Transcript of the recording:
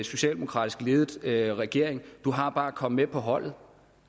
socialdemokratisk ledet regering du har bare at komme med på holdet